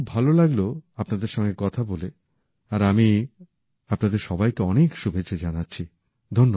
আমার খুব ভালো লাগলো আপনাদের সঙ্গে কথা বলে আর আমি আপনাদের সবাইকে অনেক শুভেচ্ছা জানাচ্ছি